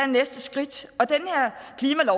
næste skridt